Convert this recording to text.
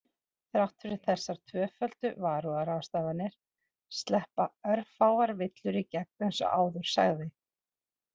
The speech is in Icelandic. Þrátt fyrir þessar tvöföldu varúðarráðstafanir sleppa örfáar villur í gegn eins og áður sagði.